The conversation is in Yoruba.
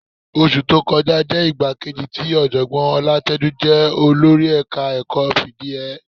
Oṣù tó kọjá jẹ́ ìgbà kejì tí Ọ̀jọ̀gbọ́n Ọlátẹ́jú jẹ olórí ẹ̀ka-ẹ̀kọ́ fìdí hẹ ẹ́